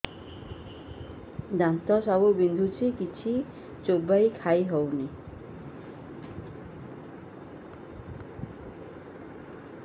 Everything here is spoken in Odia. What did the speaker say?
ଦାନ୍ତ ସବୁ ବିନ୍ଧୁଛି କିଛି ଚୋବେଇ ଖାଇ ହଉନି